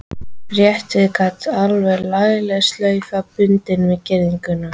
Rétt við gatið var lagleg slaufa bundin við girðinguna.